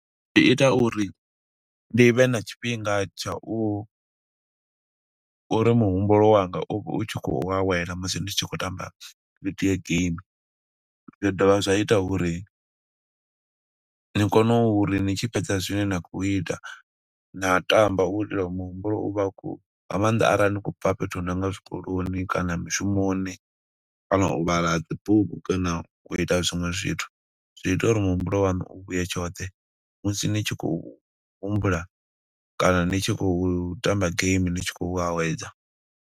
Zwi ita uri ndi vhe na tshifhinga tsha u, uri muhumbulo wanga u vhe u tshi khou awela musi ndi tshi khou tamba video game. Zwa dovha zwa ita uri ni kone uri ni tshi fhedza zwine na khou ita, na tamba u itela u muhumbulo uvha u khou. Nga maanḓa arali ni khou bva fhethu hu nonga zwikoloni, kana mushumoni, kana u vhala ha dzibugu, kana u ita zwiṅwe zwithu. Zwi ita uri muhumbulo waṋu u vhuye tshoṱhe, musi ni tshi khou humbula, kana ni tshi khou tamba game ni tshi khou awedza.